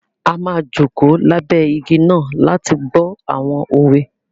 A má joko labẹ igi náà láti gbọ awọn òwe